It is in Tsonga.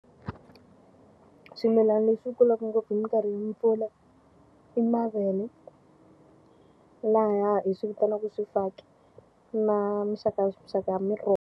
Swimilana leswi kulaka ngopfu hi minkarhi ya mpfula i mavele. Laha hi swi vitanaka swifaki, na minxakanxaka ya miroho.